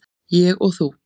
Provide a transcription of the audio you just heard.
Ég og þú.